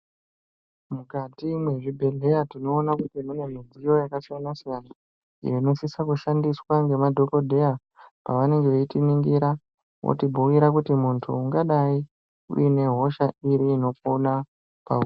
Mukati mwezvibhedhleya tinoona kuti mune mudziyo yakasiyana siyana inosise kushandiswa ngemadhokodheya pavanenge veitiningira votibhuira kuti muntu ungadai uine hosha inopona pauri.